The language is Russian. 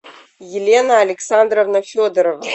елена александровна федорова